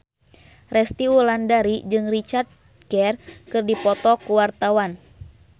Resty Wulandari jeung Richard Gere keur dipoto ku wartawan